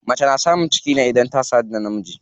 Mace na samun ciki ne idan ta sadu da namiji.